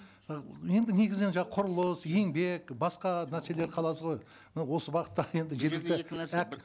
і енді негізінен құрылыс еңбек басқа мәселелер қалады ғой мынау осы бағытта енді жеткілікті